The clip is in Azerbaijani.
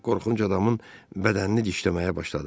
Qorxunc adamın bədənini dişləməyə başladı.